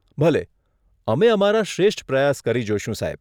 ભલે, અમે અમારા શ્રેષ્ઠ પ્રયાસ કરી જોઈશું, સાહેબ.